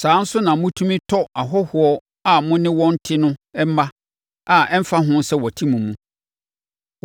Saa ara nso na motumi tɔ ahɔhoɔ a mo ne wɔn te no mma a ɛmfa ho sɛ wɔte mo mu.